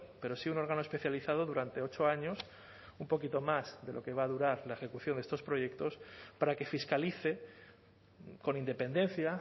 pero sí un órgano especializado durante ocho años un poquito más de lo que va a durar la ejecución de estos proyectos para que fiscalice con independencia